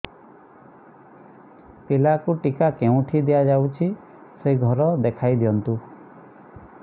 ପିଲାକୁ ଟିକା କେଉଁଠି ଦିଆଯାଉଛି ସେ ଘର ଦେଖାଇ ଦିଅନ୍ତୁ